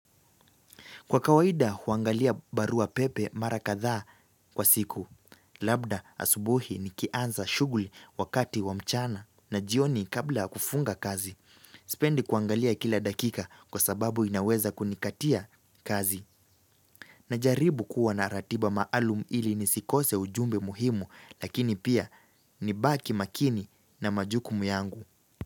Kwa kawaida huangalia baruapepe mara kathaa kwa siku. Labda asubuhi nikianza shughuli wakati wa mchana na jioni kabla ya kufunga kazi. Sipendi kuangalia kila dakika kwa sababu inaweza kunikatia kazi. Najaribu kuwa naratiba maalum ili nisikose ujumbe muhimu lakini pia nibaki makini na majukumu yangu.